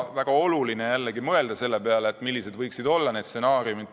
Väga oluline on mõelda selle peale, millised võiksid stsenaariumid olla.